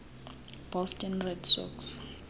boston red sox